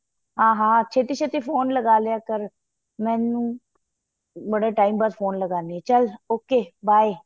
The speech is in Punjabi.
ਹਾਂ ਹਾਂ ਛੇਤੀਂ ਛੇਤੀਂ ਫੋਨ ਲਗਾਂ ਰਿਹਾਂ ਕਰ ਮੈਨੂੰ ਬੜੇ time ਬਾਅਦ ਫੋਨ ਲਗਾਣੀ ਏ ਚੱਲ okay by